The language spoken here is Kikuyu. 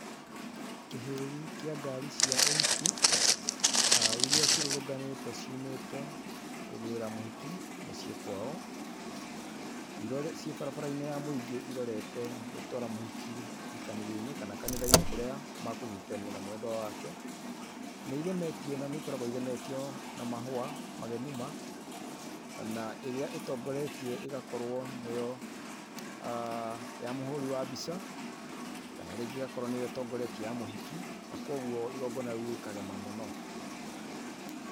Kĩhĩri kĩa ngari cia ũhiki[uuhh]iríĩ cirungumanĩte ciumĩte kũgĩra mũhiki mũciĩ kwao cibarabarainĩ ya mũingĩ irorete gũtwara mũhiki kĩhikanionĩ kana kanithainĩ kũria mekũnyitithanwa na mwendwa wake nĩigemetio na nĩikoragwo igemetio na mahua magemu ma na ĩrĩa ĩtongoretie ĩgakorwo nĩyo[uuhh]ya mũhũri wa mbica kana rĩngĩ ĩgakorwo nĩyo ĩtongoretie ya mũhiki na kwoguo igongona rĩu rĩkagema muno .